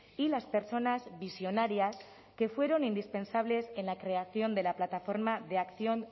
y las personas visionarias que fueron indispensables en la creación de la plataforma de acción